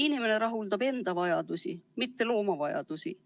Inimene rahuldab enda vajadusi, mitte looma vajadusi.